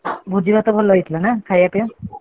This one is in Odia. ଭୋଜି ଭାତ ଭଲ ହେଇଥିଲା ନା ଖାଇଆ ପିଆ?